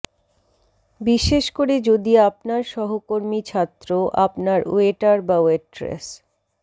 বিশেষ করে যদি আপনার সহকর্মী ছাত্র আপনার ওয়েটার বা ওয়েট্রেস